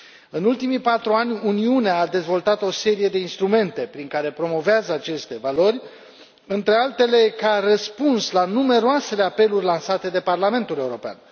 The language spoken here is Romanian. În ultimii patru ani, Uniunea a dezvoltat o serie de instrumente prin care promovează aceste valori, între altele ca răspuns la numeroasele apeluri lansate de Parlamentul European.